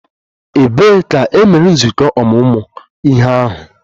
Ebee ka e mere nzukọ ọmụmụ ihe ahụ?